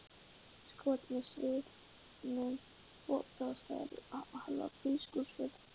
skot með sviðnu opi á stærð við hálfa bílskúrshurð.